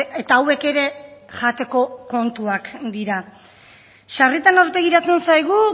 eta hauek ere jateko kontuak dira sarritan aurpegiratzen zaigu